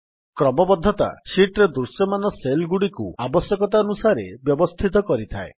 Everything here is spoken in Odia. କ୍ରମବଦ୍ଧତା ଶୀଟ୍ ରେ ଦୃଶ୍ୟମାନ Cellଗୁଡ଼ିକୁ ଆବଶ୍ୟକତାନୁସାରେ ବ୍ୟବସ୍ଥିତ କରିଥାଏ